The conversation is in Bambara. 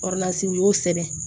u y'o sɛbɛn